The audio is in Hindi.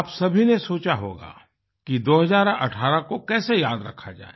आप सभी ने सोचा होगा कि 2018 को कैसे याद रखा जाए